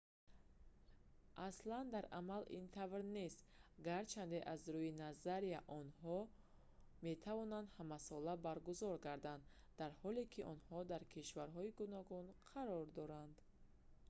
аслан дар амал ин тавр нест гарчанде аз рӯи назария онҳо метавонанд ҳамасола баргузор гарданд дар ҳоле ки онҳо дар кишварҳои гуногун қарор доранд